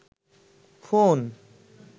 phone